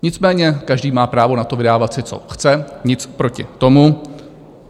Nicméně každý má právo na to, vydávat si, co chce, nic proti tomu.